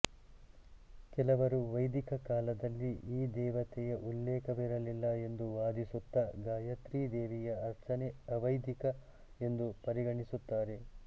ಕೆಲವರು ವೈದಿಕ ಕಾಲದಲ್ಲಿ ಈ ದೇವತೆಯ ಉಲ್ಲೇಖವಿರಲಿಲ್ಲ ಎಂದು ವಾದಿಸುತ್ತಾ ಗಾಯತ್ರೀ ದೇವಿಯ ಅರ್ಚನೆ ಅವೈದಿಕ ಎಂದು ಪರಿಗಣಿಸುತ್ತಾರೆ